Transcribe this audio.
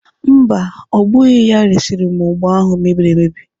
Mba, ọ bụghị ya resịrị m ụgba ahụ mebiri emebi.